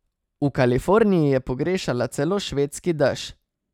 V Kaliforniji je pogrešala celo švedski dež.